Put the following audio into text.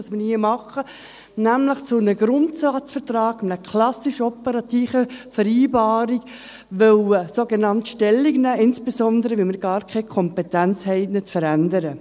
Denn mit dem, was wir hier tun, nämlich zu einem Grundsatzvertrag und einer klassisch operativen Vereinbarung Stellung nehmen, haben wir insbesondere gar keine Kompetenz, diesen Grundsatzvertrag zu verändern.